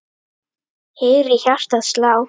heyri hjartað slá.